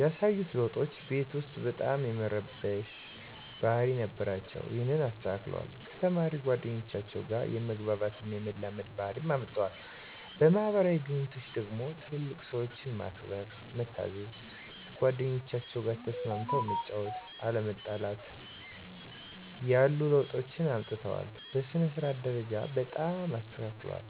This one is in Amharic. ያሳዩት ለዉጦች ቤት ዉስጥ በጣም የመረበሽ ባህሪ ነበራቸዉ እና ይሀንን አስተካክለዋል፣ ከተማሪ ጓደኞቻቸዉ ጋ የመግባባት እና የመላመድ ባህሪ አምጠዋል። በማህበራዊ ግንኙነቶች ደግሞ ትልልቅ ሰዎችን ማክበር፣ መታዘዝ፣ ከጓደኞቻቸዉ ጋ ተስማምተህ መጫወት፣ አለመጣላትን ያሉ ለዉጦችን አምጥተዋል። በሥነ-ስርዓት ደረጃ በጣም ተስተካክለዋል